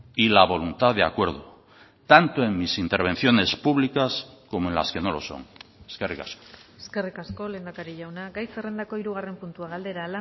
y la voluntad de acuerdo tanto en mis intervenciones públicas como en las que no lo son eskerrik asko eskerrik asko lehendakari jauna gai zerrendako hirugarren puntua galdera